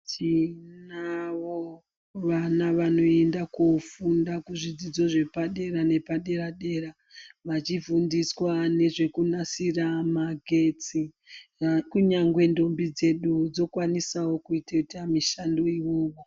Tinavo vana vanoenda kofunda kuzvidzidzo zvepadera nepadera-dera, vachifundiswa nezvekunasira magetsi, kunyangwe ntombi dzedu dzokwanisawo kutoita mishando iyoyo.